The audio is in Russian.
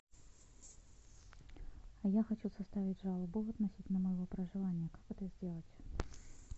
а я хочу составить жалобу относительно моего проживания как это сделать